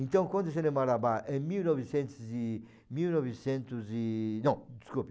Então, quando o cinema marabá, em mil e novcentos e... mil e novecentos e... Não, desculpe,